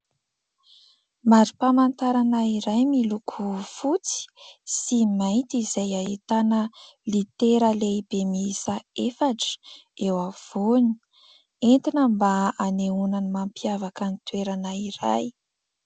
Mari-pamantarana iray miloko fotsy sy mainty izay ahitana litera lehibe miisa efatra eo afovoany. Entina mba hanehoana ny mampiavaka ny toerana iray.